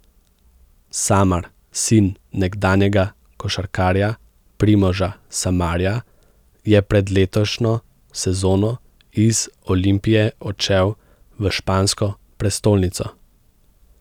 Samar, sin nekdanjega košarkarja Primoža Samarja, je pred letošnjo sezono iz Olimpije odšel v špansko prestolnico.